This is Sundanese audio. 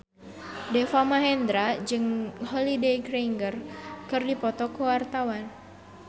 Deva Mahendra jeung Holliday Grainger keur dipoto ku wartawan